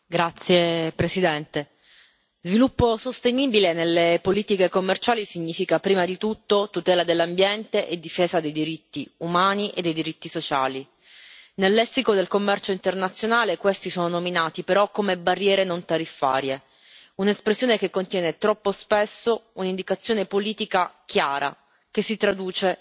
Signor Presidente, onorevoli colleghi, sviluppo sostenibile nelle politiche commerciali significa, prima di tutto, tutela dell'ambiente e difesa dei diritti umani e dei diritti sociali. Nel lessico del commercio internazionale questi sono nominati però come barriere non tariffarie, un'espressione che contiene troppo spesso un'indicazione politica chiara, che si traduce